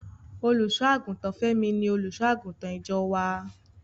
Olùṣọ́-àgùntàn Fẹ́mi ni Olùṣọ́-àgùntàn ìjọ wá.